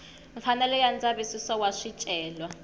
mfanelo ya ndzavisiso wa swicelwa